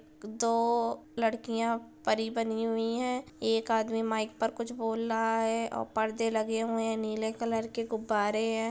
दो लड़कियां परी बनी हुई हैं । एक आदमी माइक पर कुछ बोल लहा है और परदे लगे हुआ हैं । नीले कलर के गुब्बारे हैं ।